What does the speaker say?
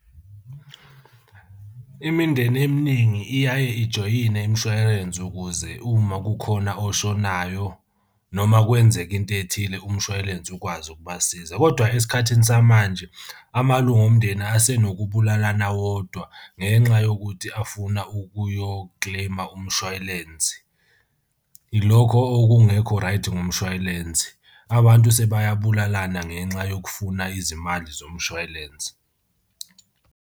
Imindeni eminingi iyaye ijoyine imishwarensi ukuze uma kukhona oshonayo noma kwenzeke into ethile, umshwalense ukwazi ukubasiza, kodwa esikhathini samanje amalunga omndeni asenokubulalana wodwa ngenxa yokuthi afuna ukuyo-claim-a umshwalense. Ilokho okungekho right ngomshwalense, abantu sebayabulalana ngenxa yokufuna izimali zomshwalense.